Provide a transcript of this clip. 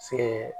Se